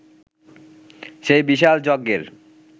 সেই বিশাল যজ্ঞের